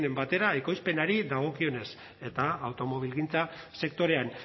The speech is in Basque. batera ekoizpenari dagokionez eta automobilgintza sektorean